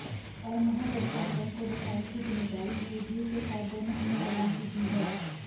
और महागठबंधन को बचाने की जिम्मेदारी जेडीयू के साथ दोनों अन्य दलों की भी है